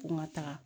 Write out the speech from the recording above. Ko n ka taga